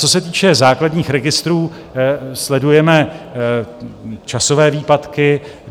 Co se týče základních registrů, sledujeme časové výpadky.